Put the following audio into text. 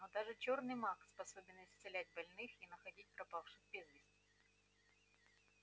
но даже чёрный маг способен исцелять больных и находить пропавших без вести